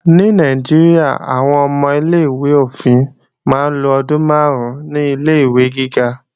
Ní Nàìjíríà, àwọn ọmọ ilé-ìwé òfin máa ń lo ọdún máàrún ní Ilé-ìwé gíga